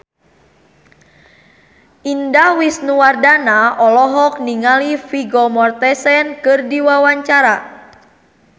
Indah Wisnuwardana olohok ningali Vigo Mortensen keur diwawancara